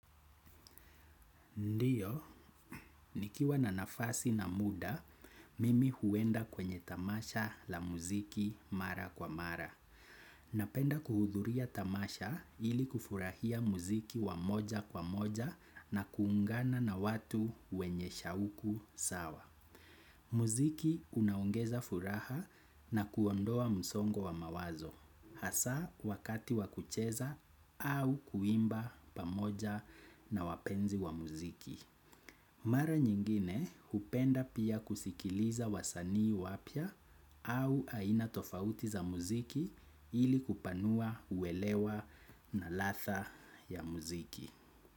Ndiyo, nikiwa na nafasi na muda, mimi huenda kwenye tamasha la muziki mara kwa mara. Napenda kuhudhuria tamasha ili kufurahia muziki wa moja kwa moja na kuungana na watu wenye shauku sawa. Muziki unaongeza furaha na kuondoa msongo wa mawazo. Hasa wakati wa kucheza au kuimba pamoja na wapenzi wa muziki. Mara nyingine hupenda pia kusikiliza wasanii wapya au aina tofauti za muziki ili kupanua uelewa na ladha ya muziki.